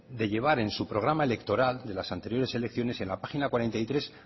de llevar en su programa electoral de las anteriores elecciones en la página cuarenta y tres